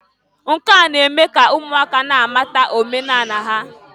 Nke a na-eme ka ụmụaka na-amata omenanị ha.